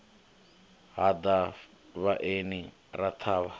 ha ḓa vhaeni ra ṱhavha